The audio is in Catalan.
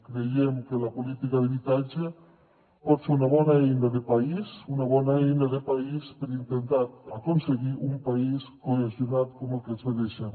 creiem que la política d’habitatge pot ser una bona eina de país una bona eina de país per intentar aconseguir un país cohesionat com el que ens mereixem